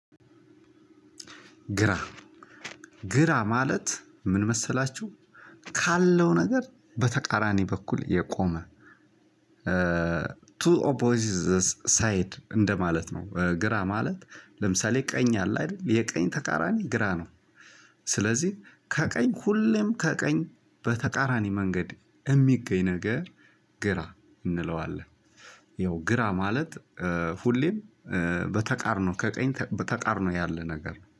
ግራ ግራ ማለትን ምን መሰላችሁ? ካለው ነገር በተቃራኒ በኩል የቆመ ቱ ኦፖዚት ሳይድ እንደማለት ነው። ግራ ማለት ለምሳሌ ቀኝ አለ አይደል የቀኝ ተቃራኒ ግራ ነው። ስለዚህ ከቀኝ ሁሌም ከቀኝ በተቃራኒ መንገድ የሚገኝ ነገር ግራ እንለዋለን። ያው ግራ ማለት ሁሌም በተቃርኖ ከቀኝ በተቃርኖ ያለ ነገር